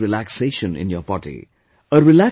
You will experience relaxation in your body